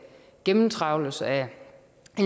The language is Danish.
gennemtrawles af